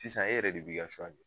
Sisan e yɛrɛ de b'i ka suwa kɛ